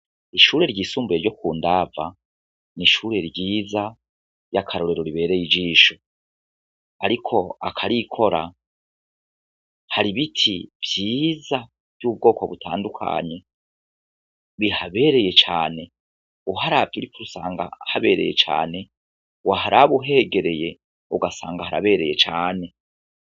Ishure ryisumbuye ryo kundava, n'ishure ryiza ry'akarorero ribereye ijisho, ariko akarikora ,har'ibiti vyiza vy'ubwoko butandukanye, bihabereye cane, uharavye uri kure usanga harabereye cane, waharaba uhegereye ugasanga harabereye cane.